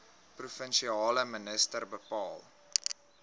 provinsiale minister bepaal